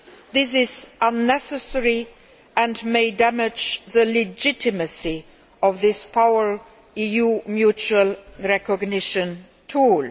This is unnecessary and may damage the legitimacy of this powerful EU mutual recognition tool.